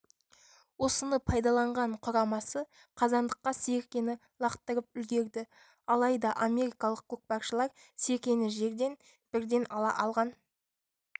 осыны пайдаланған құрамасы қазандыққа серкені лақтырып үлгерді алайда америкалық көкпаршылар серкені жерден бірден ала алған